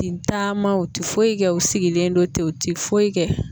Ti taama u ti foyi kɛ u sigilen don ten u ti foyi kɛ.